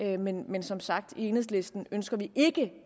det men men som sagt i enhedslisten ønsker vi ikke